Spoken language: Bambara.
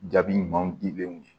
Jaabi ɲumanw dilen ye